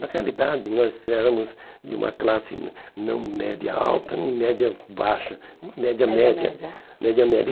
Na realidade, nós éramos de uma classe não não média alta, nem média baixa, média média. Média, média.